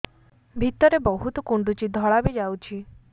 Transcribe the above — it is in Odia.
ଭିତରେ ବହୁତ କୁଣ୍ଡୁଚି ଧଳା ବି ଯାଉଛି